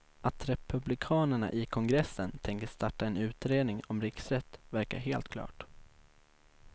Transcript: Att republikanerna i kongressen tänker starta en utredning om riksrätt verkar helt klart.